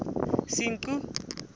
senqu